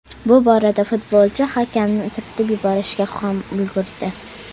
Bu borada futbolchi hakamni turtib yuborishga ham ulgurdi.